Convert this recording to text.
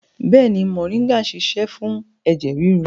Bẹ́ẹ̀ni, moringa ń ṣiṣẹ́ fún ẹ̀jẹ̀ ríru